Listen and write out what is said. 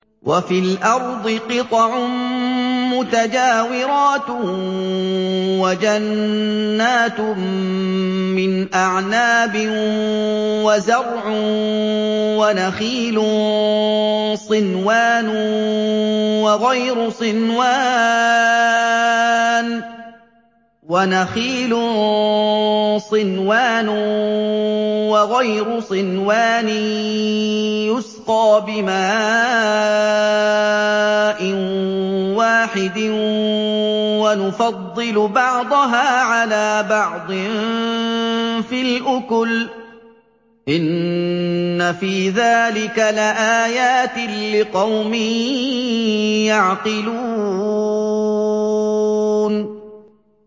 وَفِي الْأَرْضِ قِطَعٌ مُّتَجَاوِرَاتٌ وَجَنَّاتٌ مِّنْ أَعْنَابٍ وَزَرْعٌ وَنَخِيلٌ صِنْوَانٌ وَغَيْرُ صِنْوَانٍ يُسْقَىٰ بِمَاءٍ وَاحِدٍ وَنُفَضِّلُ بَعْضَهَا عَلَىٰ بَعْضٍ فِي الْأُكُلِ ۚ إِنَّ فِي ذَٰلِكَ لَآيَاتٍ لِّقَوْمٍ يَعْقِلُونَ